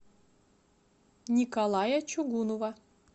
николая чугунова